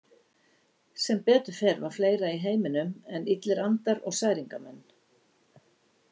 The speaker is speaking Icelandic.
Sem betur fer var fleira í heiminum en illir andar og særingamenn.